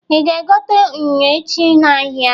Ị ga-egota unyo echi n'ahịa?